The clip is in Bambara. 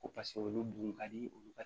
Ko paseke olu dun ka di olu ka